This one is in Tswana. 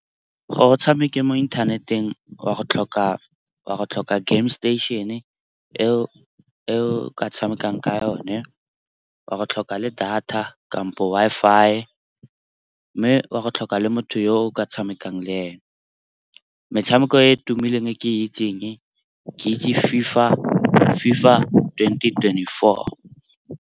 Gore o tshameke mo inthaneteng oa go tlhoka game station- eo ka tshamekang ka yone, oa go tlhoka le data kampo Wi-Fi, mme wa go tlhoka le motho yo o ka tshamekang le ene. Metshameko e e tumileng e ke itseng, ke itse FIFA twenty twenty-four.